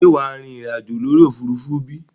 Ṣé wàá rìnrìn àjò lórí òfurufú bí?